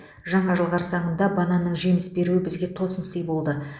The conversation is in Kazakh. жаңа жыл қарсаңында бананның жеміс беруі бізге тосын сый болды